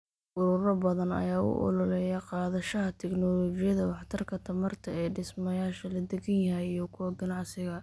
Ururo badan ayaa u ololeeya qaadashada tignoolajiyada waxtarka tamarta ee dhismayaasha la deggan yahay iyo kuwa ganacsiga.